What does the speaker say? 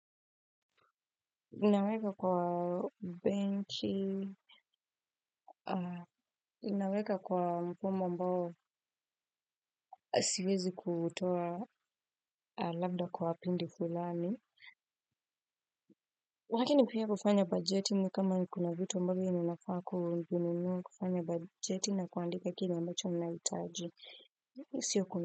Naweka kwa benki, naweka kwa mfumo ambao. Siwezi kutoa labda kwa pindi fulani. Lakini mkiwa mnafanya bajeti, kama kuna vitu ambavyo mnafaa kununua, fanyeni bajeti na kuandika kile ambacho mnahitaji. Sio kuna.